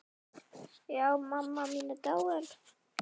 Já, mamma mín er dáin.